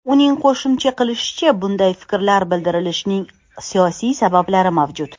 Uning qo‘shimcha qilishicha, bunday fikrlar bildirilishining siyosiy sabablari mavjud.